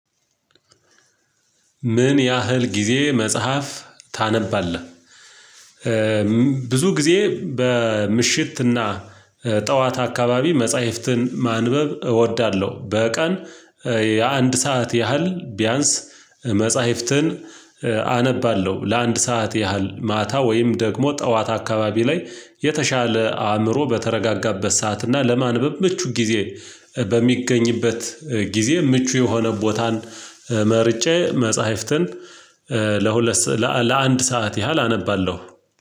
ምን ያህል ጊዜ መጽሐፍ ታነባለህ? ብዙ ጊዜ በምሽትና ጠዋት አካባቢ መጽሐፍትን ማንበብ እወዳለሁ በቀን የአንድ ሰዓት ያህል ቢያንስ መጽሐፍትን አነባለሁ። ለአንድ ሰዓት ያህል ማታ ወይም ደግሞ ጠዋት አካባቢ ላይ የተሻለ አእምሮ በተረጋጋበት ሰዓት እና ለማንበብ ምቹ ጊዜ በሚገኝበት ጊዜ ምቹ የሆነ ቦታን መርጬ መጽሐፍትን ለሁለት ለአንድ ሰዓት ያህል አነባለሁ።